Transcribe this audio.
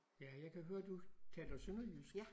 Ja jeg kan høre du taler sønderjysk